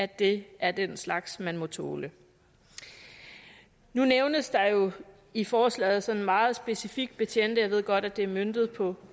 det er den slags man må tåle nu nævnes der jo i forslaget sådan meget specifikt betjente og jeg ved godt at det er møntet på